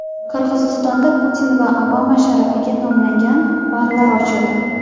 Qirg‘izistonda Putin va Obama sharafiga nomlangan barlar ochildi .